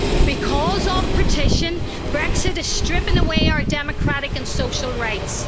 Because of partition, Brexit is stripping away our democratic and social rights.